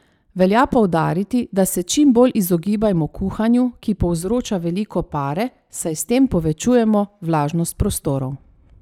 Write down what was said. Velja poudariti, da se čim bolj izogibajmo kuhanju, ki povzroča veliko pare, saj s tem povečujemo vlažnost prostorov.